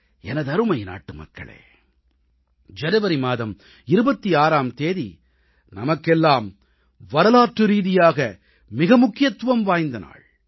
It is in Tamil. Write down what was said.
எனதருமை நாட்டுமக்களே ஜனவரி மாதம் 26ஆம் தேதி நமக்கெல்லாம் வரலாற்றுரீதியாக மிக முக்கியத்துவம் வாய்ந்த நாள்